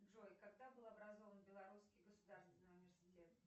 джой когда был образован белорусский государственный университет